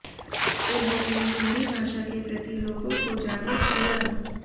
उन्होंने हिन्दी भाषा के प्रति लोगों को जागरुक किया